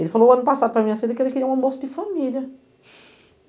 Ele falou ano passado, para minha assim, que ele queria um almoço de família.